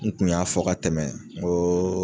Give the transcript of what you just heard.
N tun y'a fɔ ka tɛmɛ n ko oo